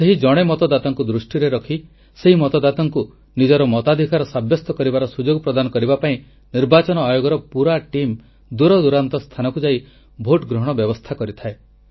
ସେହି ଜଣେ ମତଦାତାଙ୍କୁ ଦୃଷ୍ଟିରେ ରଖି ସେହି ମତଦାତାଙ୍କୁ ନିଜର ମତାଧିକାର ସାବ୍ୟସ୍ତ କରିବାର ସୁଯୋଗ ପ୍ରଦାନ କରିବା ପାଇଁ ନିର୍ବାଚନ ଆୟୋଗଙ୍କ ପୁରା ଟିମ୍ ଦୂରଦୂରାନ୍ତ ସ୍ଥାନକୁ ଯାଇ ଭୋଟ ଗ୍ରହଣ ବ୍ୟବସ୍ଥା କରିଥାଏ